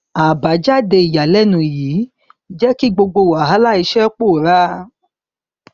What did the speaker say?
àbájáde ìyànilẹnu yìí jẹ kí gbogbo wàhálà iṣẹ pòórá